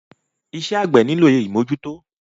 Iṣẹ́ àgbẹ́ nílò ìmọ́jútọ́.